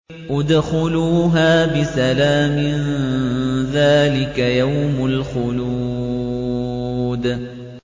ادْخُلُوهَا بِسَلَامٍ ۖ ذَٰلِكَ يَوْمُ الْخُلُودِ